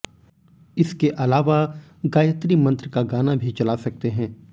इसके अलावा गायत्री मंत्र का गाना भी चला सकते हैं